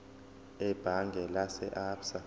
ebhange lase absa